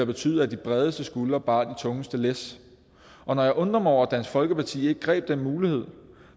betydet at de bredeste skuldre bar de tungeste læs og når jeg undrer mig over at dansk folkeparti ikke greb den mulighed